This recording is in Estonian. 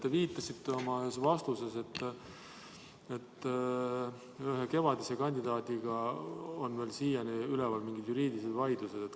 Te viitasite ühes oma vastuses, et ühe kevadise kandidaadiga on siiani üleval mingid juriidilised vaidlused.